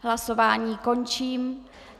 Hlasování končím.